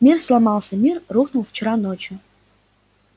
мир сломался мир рухнул вчера ночью